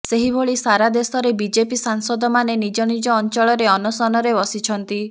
ସେହିଭଳି ସାରା ଦେଶରେ ବିଜେପି ସାଂସଦମାନେ ନିଜ ନିଜ ଅଞ୍ଚଳରେ ଅନଶନରେ ବସିଛନ୍ତି